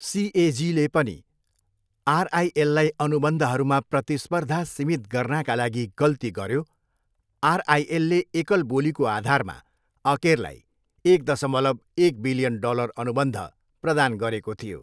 सिएजीले पनि आरआइएललाई अनुबन्धहरूमा प्रतिस्पर्धा सीमित गर्नाका लागि गल्ती गऱ्यो, आरआइएलले एकल बोलीको आधारमा अकेरलाई एक दसमलव, एक बिलियन डलर अनुबन्ध प्रदान गरेको थियो।